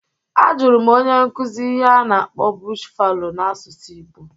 A jụrụ m onye nkuzi ihe a na-akpọ "bush fallow" n'asụsụ igbo